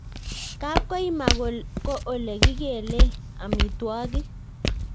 Kapkoima ko ole kikelee amitwogik